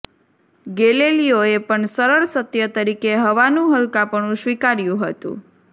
ગેલેલીયોએ પણ સરળ સત્ય તરીકે હવાનું હલકાપણું સ્વીકાર્યું હતુ